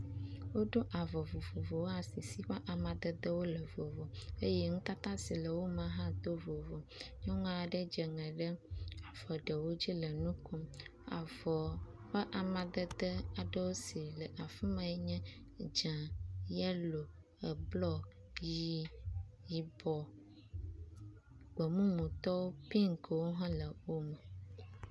Woɖo avɔ vovovowo asi si ƒe amadedewo le vovo eye nutata si le wo me hã to vovovo. Nyɔnu aɖe dze ŋe ɖe avɔ ɖewo dzi le nu kom. Avɔ ƒe amadede aɖewo si le afi ma nye dze, yelo, eblɔ, ʋɛ̃, yibɔ, gbe mumutɔ, pinkwo hã le wo me.